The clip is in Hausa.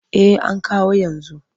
Eh an kawo yanzu.